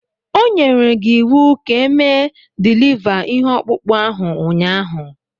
O nyere gi iwu ka mee diliva ihe ọkpụkpụ ahụ ụnyaahụ